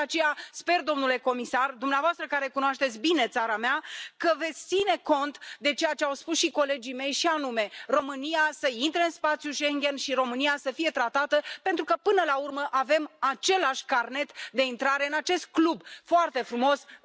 Și de aceea sper, domnule comisar, că dumneavoastră care cunoașteți bine țara mea veți ține cont de ceea ce au spus și colegii mei, și anume România să intre în spațiul Schengen și România să fie bine tratată, pentru că, până la urmă, avem același carnet de intrare în acest club foarte frumos, Uniunea Europeană.